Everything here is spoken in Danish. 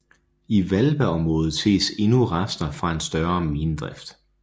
I Hvalbaområdet ses endnu rester fra en større minedrift